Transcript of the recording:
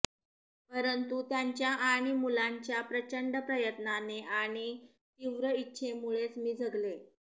परंतु त्यांच्या आणि मुलांच्या प्रचंड प्रयत्नाने आणि तीक्र इच्छेमुळेच मी जगले